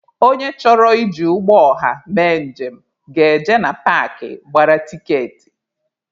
Onye chọrọ iji ụgbọ ọha mee njem ga-eje na paakị gbara tiketi.